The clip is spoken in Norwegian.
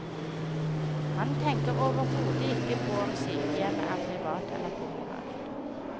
Han tenker overhodet ikke på om sykehjemmet er privat eller kommunalt.